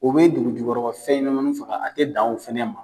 U bɛ dugujukɔrɔgɔ fɛnɲanamanin faga a tɛ dan o fana ma.